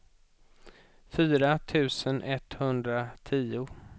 fyra tusen etthundratio